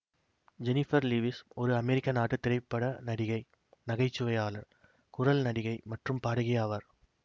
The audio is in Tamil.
ஜெனிபர் லீவிஸ் ஒரு அமெரிக்க நாட்டு திரைப்பட நடிகை நகைச்சுவையாளர் குரல் நடிகை மற்றும் பாடகி ஆவார்